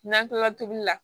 N'an kilala tobili la